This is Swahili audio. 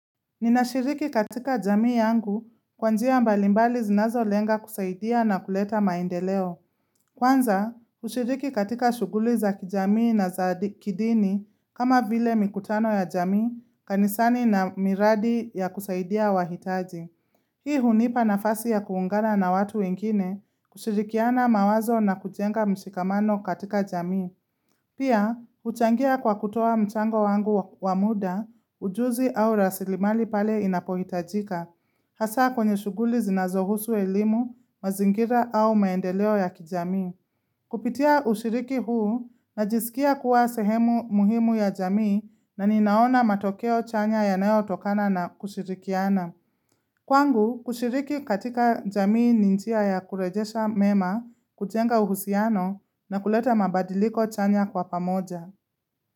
Ninashiriki katika jamii yangu kwa njia mbalimbali zinazolenga kusaidia na kuleta maendeleo. Kwanza, ushiriki katika shughuli za kijamii na za kidini kama vile mikutano ya jamii kanisani na miradi ya kusaidia wahitaji. Hii hunipa nafasi ya kuungana na watu wengine kushirikiana mawazo na kujenga mshikamano katika jamii. Pia, huchangia kwa kutoa mchango wangu wa muda, ujuzi au rasilimali pale inapohitajika. Hasa kwenye shughuli zinazohusu elimu, mazingira au maendeleo ya kijamii. Kupitia ushiriki huu, najisikia kuwa sehemu muhimu ya jamii na ninaona matokeo chanya yanayotokana na kushirikiana. Kwangu, kushiriki katika jamii ni njia ya kurejesha mema, kujenga uhusiano na kuleta mabadiliko chanya kwa pamoja.